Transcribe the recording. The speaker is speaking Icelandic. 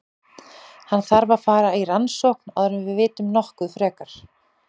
Hann þarf að fara í rannsókn áður en við vitum nokkuð frekar.